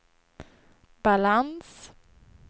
balans